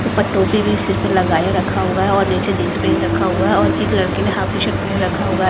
ऊपर टोपी भी सिर पर लगाए रखा हुआ है और नीचे जींस पहन रखा हुआ है और एक लड़की ने हाफ टी-शर्ट पहन रखा हुआ है।